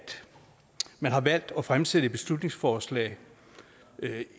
man har valgt at fremsætte et beslutningsforslag